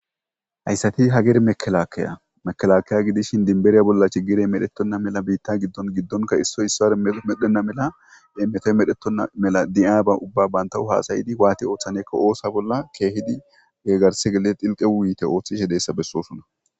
Hayssati hager mekelaakeya mekelakiya gidishin dinbereya bollachi girey medhettonna mela biitta giddon giddonka issoy issaare medhenna mela emmetoy medhettonna mela di'aaba ubba bantawu haasayidi waati ooththanekka oosa bolla keehidi geggarse geie xilqe wuyite ooththishe deessa bessosunna.